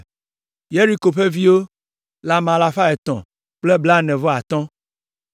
Yeriko ƒe viwo le ame alafa etɔ̃ kple blaene-vɔ-atɔ̃ (345).